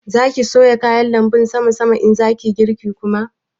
Za ki soya kayan lanbun sama sama in za ki yi girki kuma?